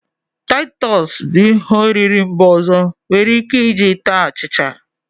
Titus bu ihe oriri mba ọzọ enwere Ike iji taa achicha.